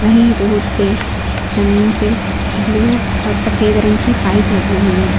ये रोड पे जमीन पे ब्लू और सफेद रंग की पाइप लगी हुई--